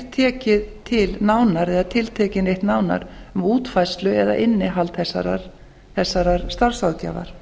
tekið til nánar eða tiltekið neitt nánar um útfærslu eða innihald þessarar starfsráðgjafar